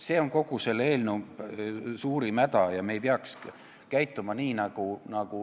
See on kogu selle eelnõu suurim häda.